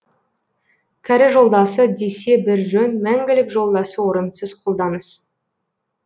кәрі жолдасы десе бір жөн мәңгілік жолдасы орынсыз қолданыс